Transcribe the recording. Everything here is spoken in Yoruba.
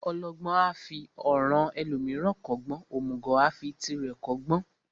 Ọlọgbọ́n a fi ọ̀ràn ẹlòmíràn kọ́gbọ́n, òmùgọ̀ a fi tirẹ̀ kọ́gbọ́n.